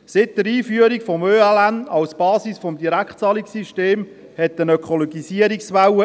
Seit der Einführung des ökologischen Leistungsnachweises (ÖLN) als Basis des Direktzahlungssystems gibt es eine Ökologisierungswelle.